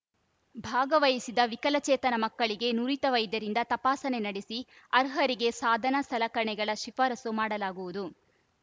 ಭಾಗವಹಿಸಿದ ವಿಕಲಚೇತನ ಮಕ್ಕಳಿಗೆ ನುರಿತ ವೈದ್ಯರಿಂದ ತಪಾಸಣೆ ನಡೆಸಿ ಅರ್ಹರಿಗೆ ಸಾಧನ ಸಲಕರಣೆಗಳ ಶಿಫಾರಸು ಮಾಡಲಾಗುವುದು